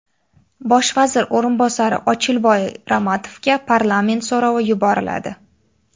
Bosh vazir o‘rinbosari Ochilboy Ramatovga parlament so‘rovi yuboriladi.